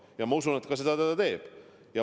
Ja ma usun, et ta seda ka teeb.